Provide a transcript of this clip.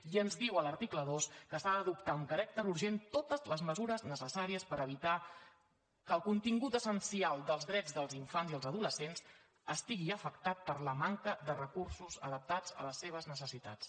i ens diu a l’article dos que s’ha d’adoptar amb caràcter urgent totes les mesures necessàries per evitar que el contingut essencial dels drets dels infants i els adolescents estigui afectat per la manca de recursos adaptats a les seves necessitats